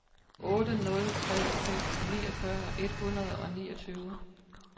otte nul tre fem niogfyrre et hundrede og niogtyve